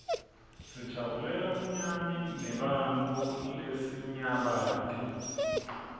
sijabulela bunyani neebantfu lesinyabati